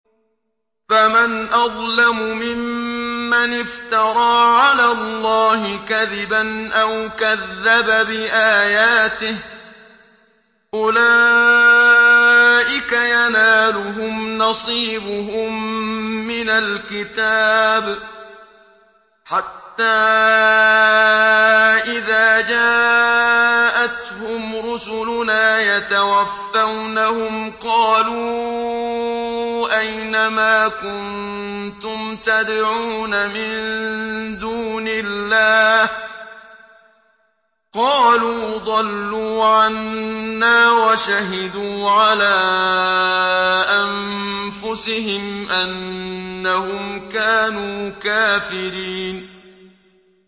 فَمَنْ أَظْلَمُ مِمَّنِ افْتَرَىٰ عَلَى اللَّهِ كَذِبًا أَوْ كَذَّبَ بِآيَاتِهِ ۚ أُولَٰئِكَ يَنَالُهُمْ نَصِيبُهُم مِّنَ الْكِتَابِ ۖ حَتَّىٰ إِذَا جَاءَتْهُمْ رُسُلُنَا يَتَوَفَّوْنَهُمْ قَالُوا أَيْنَ مَا كُنتُمْ تَدْعُونَ مِن دُونِ اللَّهِ ۖ قَالُوا ضَلُّوا عَنَّا وَشَهِدُوا عَلَىٰ أَنفُسِهِمْ أَنَّهُمْ كَانُوا كَافِرِينَ